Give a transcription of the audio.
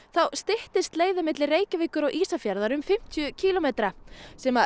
styttist leiðin milli Reykjavíkur og Ísafjarðar um fimmtíu kílómetra sem